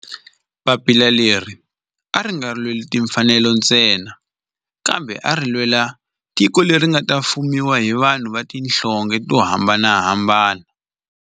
Papila leri a ri nga lweli timfanelo ntsena kambe ari lwela tiko leri nga ta fumiwa hi vanhu va tihlonge to hambanahambana.